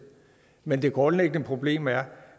men det grundlæggende problem er